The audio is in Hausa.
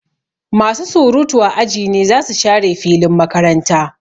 Masu surutu a aji ne zasu share filin makaranta.